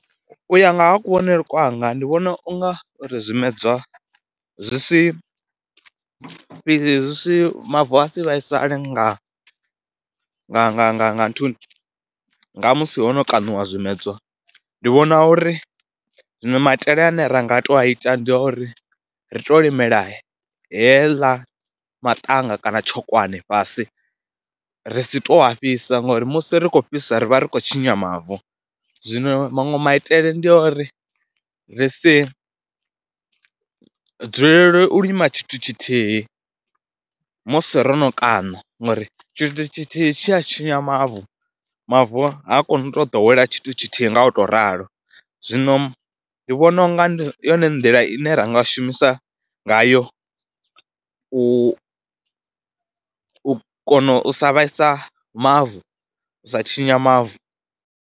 U ya nga ha kuvhonele kwanga ndi vhona u nga uri zwimedzwa zwi si fhedzi zwi si, mavu a si vhaisale nga nga nga nga nga nthuni, ndi nga musi ho no kaṋiwa zwimedzwa. Ndi vhona uri zwino maitele ane ra nga tou ita ndi uri ri tou limela heḽa maṱanga kana tshokwane fhasi ri si tou a fhisa ngori musi ri khou fhisa ri vha ri khou tshinya mavu. Zwino maṅwe maitele ndi a uri ri si dzulele u lima tshithu tshithihi musi ro no kaṋa ngori tshithu tshithihi tshi a tshinya mavu, mavu ha koni u tou ḓowela tshithu tshithihi nga u tou ralo. Zwino ndi vhona u nga ndi yone nḓila ine ra nga shumisa ngayo u u kona u sa vhaisa mavu, u sa tshinya mavu.